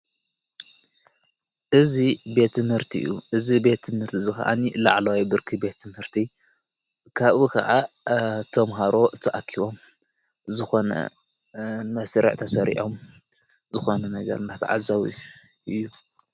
እዝ ቤቲ ምህርቲ እዩ እዝ ቤቲ ምህርቲ ዘኸኣኒ ላዕልዋይ ብርኪ ቤቲ ምህርቲ ካብኡ ኸዓ ቶምሃሮ ተኣኪቦም ዝኾነን መሥርዕ ተሠሪዖም ዝኾነ ነገር ናተዓዛዊ እዩ::